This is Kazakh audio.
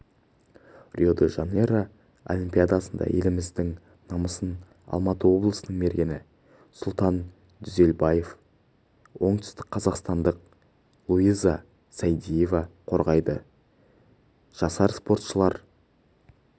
рио-де-жанейро олимпиадасында еліміздің намысын алматы облысының мергені сұлтан дүзелбаев пен оңтүстікқазақстандық луиза сайдиева қорғайды жасар спортшылар